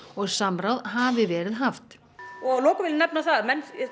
og samráð hafi verið haft og að lokum vil ég nefna það að menn